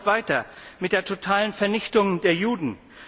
Hamas droht weiter mit der totalen Vernichtung der Juden.